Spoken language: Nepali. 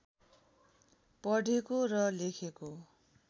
पढेको र लेखेको